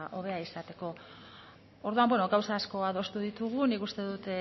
hobea izateko orduan gauza asko adostu ditugu nik uste dut